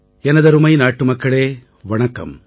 எனதருமை நாட்டுமக்களே வணக்கம்